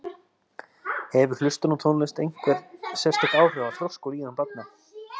Hefur hlustun á tónlist einhver sérstök áhrif á þroska og líðan barna?